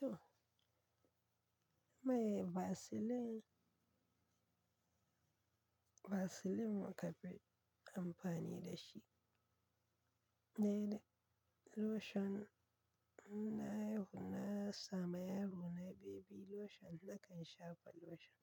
To Mai Vaseline, Vaseline muka fi amfani da shi. Ne da lotion na yaro, na sama yaro na baby lotion nakan shafa lotion.